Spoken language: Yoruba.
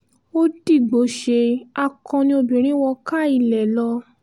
ó dìgbòóṣe akọni obìnrin wọ káa ilé lọ